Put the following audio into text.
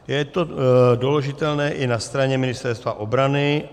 Je to doložitelné i na straně Ministerstva obrany.